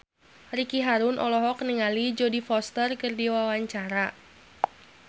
Ricky Harun olohok ningali Jodie Foster keur diwawancara